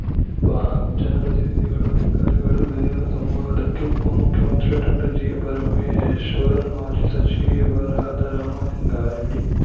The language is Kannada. ಬಾಕ್ಸ್‌ಜನಪ್ರತಿನಿಧಿಗಳು ಅಧಿಕಾರಿಗಳ ಗೈರು ಸಂವಾದಕ್ಕೆ ಉಪ ಮುಖ್ಯಮಂತ್ರಿ ಡಾಕ್ಟರ್ ಜಿಪರಮೇಶ್ವರ್‌ ಮಾಜಿ ಸಚಿವರಾದ ರಾಮಲಿಂಗಾರೆಡ್ಡಿ